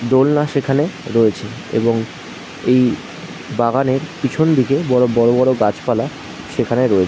দোলনা সেখানে রয়েছে এবং এই বাগানের পিছনদিকে বড়ো বড় বড় গাছপালা সেখানে রয়েছে ।